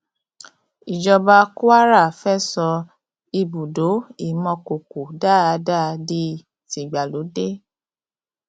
ìjọba kwara fẹẹ sọ ibùdó ìmọkòkò dada di tìgbàlódé